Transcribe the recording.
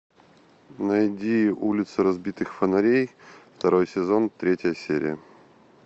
найди улицы разбитых фонарей второй сезон третья серия